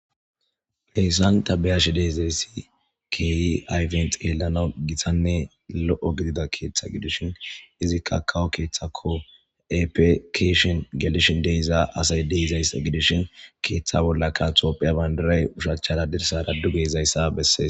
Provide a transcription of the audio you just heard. Heyssan tabeyashi deezayssi keyi ayfent yelana gitanne lo'o gidida keeththa gidishin izikka kawo keeththako epekeshin gelishin deiza asay deeizays gidishin keeththa bollaka tophiya bandiray ushachchara dirsara du gezayssa bessees.